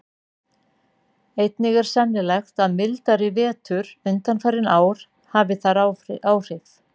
Einnig er sennilegt að mildari vetur undanfarin ár hafi þar áhrif.